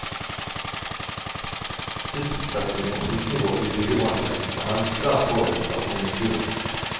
Sysselsetting og prisnivå i byggebransjen er nemlig svært påvirket av konjunkturene.